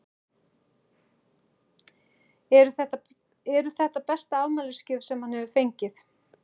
Eru þetta besta afmælisgjöf sem hann hefur fengið?